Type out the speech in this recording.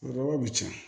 Daba bi can